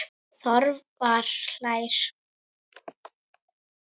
Þorvar hlær.